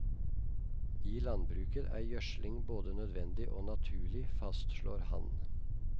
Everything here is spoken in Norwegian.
I landbruket er gjødsling både nødvendig og naturlig, fastslår han.